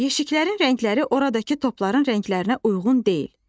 Yeşiklərin rəngləri oradakı topların rənglərinə uyğun deyil.